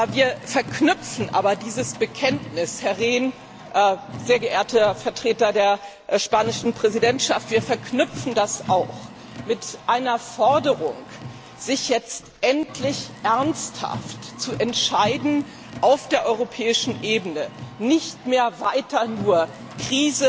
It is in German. Wir verknüpfen aber dieses Bekenntnis, Herr Rehn, sehr geehrter Vertreter der spanischen Präsidentschaft, auch mit einer Forderung, sich jetzt endlich ernsthaft zu entscheiden, auf der europäischen Ebene nicht mehr weiter nur die